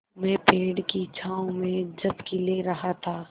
मैं पेड़ की छाँव में झपकी ले रहा था